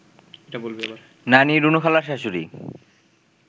নানি, রুনুখালার শাশুড়ি